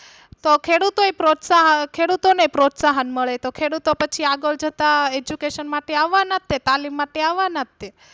તો ખેડૂતો એય પ્રોત્સાહ ખેડૂતો ને પ્રોત્સાહન મળે તો ખેડૂતો પછી આગળ જતા Education માટે આવના તે તાલીમ માટે આવના તે.